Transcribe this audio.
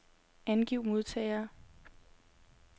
Angiv modtagere.